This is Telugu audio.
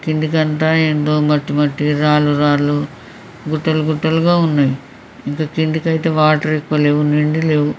కిందికంతా ఏందో మట్టి మట్టిగా రాళ్ళూ రాళ్ళూ గుట్టలు గుట్టలుగా ఉన్నాయి ఇంకా కిందికయితే వాటర్ బలే ఉన్నాయి లేవు.